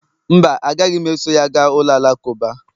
mba, agaghị m eso ya gaa ụlọ alakụba